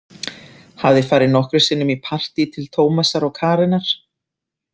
Hafði farið nokkrum sinnum í partí til Tómasar og Karenar.